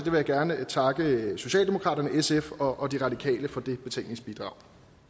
vil gerne takke socialdemokratiet sf og de radikale for det betænkningsbidrag